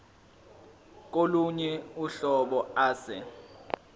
kolunye uhlobo ase